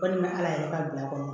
Kɔni bɛ ala yɛrɛ ka bila kɔnɔ